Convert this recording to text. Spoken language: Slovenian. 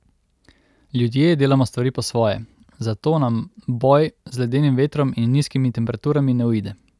Ljudje delamo stvari po svoje, zato nam boj z ledenim vetrom in nizkimi temperaturami ne uide.